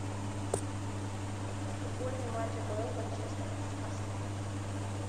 футбольный матч апл манчестер с арсенал